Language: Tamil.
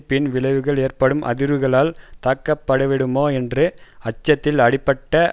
பின் விளைவில் ஏற்படும் அதிர்வுகளால் தாக்கப்பட்டுவிடுமோ என்ற அச்சத்தில் அப்படிப்பட்ட